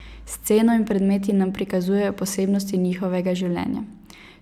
S sceno in predmeti nam prikazujejo posebnosti njihovega življenja.